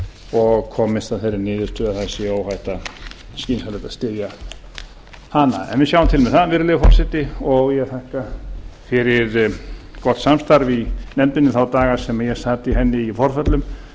og komist að þeirri niðurstöðu að það sé skynsamlegt að styðja hana við sjáum til með það virðulegi forseti og ég þakka fyrir gott samstarf í nefndinni þá daga sem ég sat í henni í forföllum